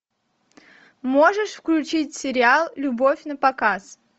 можешь включить сериал любовь напоказ